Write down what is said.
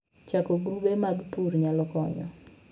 Chako grube mag pur nyalo konyo.